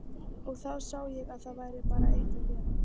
Og þá sá ég að það var bara eitt að gera.